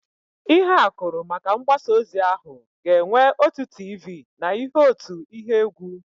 Ịhe akụrụ maka mgbasa ozi ahụ ga-enwe otu tiivii na ihe otu ihe égwú.